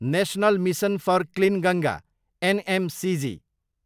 national mission for clean Ganga, NMCG